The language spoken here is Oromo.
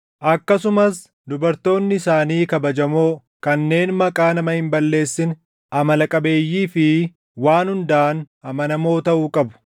Akkasumas dubartoonni isaanii kabajamoo, kanneen maqaa nama hin balleessine, amala qabeeyyii fi waan hundaan amanamoo taʼuu qabu.